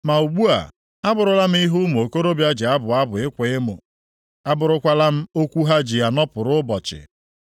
“Ma ugbu a, abụrụla m ihe ụmụ okorobịa ji abụ abụ ịkwa emo; abụrụkwala m okwu ha ji anọpụrụ ụbọchị.